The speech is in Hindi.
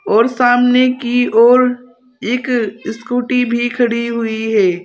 और सामने की ओर एक स्कूटी भी खड़ी हुई है।